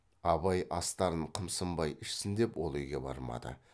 абай астарын қымсынбай ішсін деп ол үйге бармады